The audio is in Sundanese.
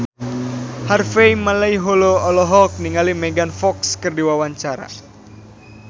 Harvey Malaiholo olohok ningali Megan Fox keur diwawancara